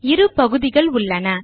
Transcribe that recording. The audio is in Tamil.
இரு பகுதிகள் உள்ளன